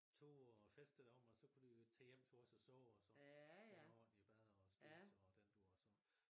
Tage ude og feste deromme og så kunne de jo tage hjem til os og sove og sådan få nogle ordentlige bad og spise og den dur og så